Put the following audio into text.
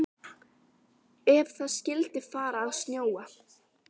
Ef það skyldi fara að snjóa.